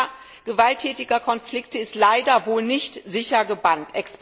Die Gefahr gewalttätiger Konflikte ist leider wohl nicht sicher gebannt.